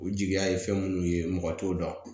U jigiya ye fɛn munnu ye mɔgɔ t'o dɔn